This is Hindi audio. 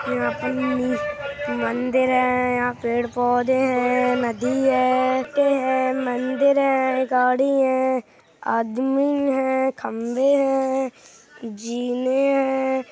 यहाँ पे मंदिर है। यहां पेड़ पौधे हैं। नदी है। है। मंदिर है। गाड़ी है। आदमी है। खंबे हैं। जीने है।